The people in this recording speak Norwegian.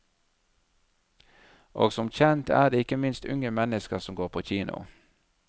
Og som kjent er det ikke minst unge mennesker som går på kino.